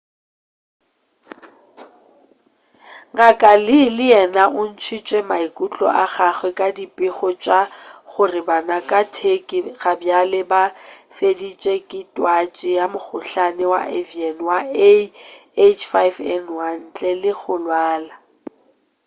ngk. lee le yena o ntšhitše maikutlo a gagwe ka dipego tša gore bana ka turkey gabjale ba fetetše ke twatši ya mokhohlane wa avian wa ah5n1 ntle le go lwala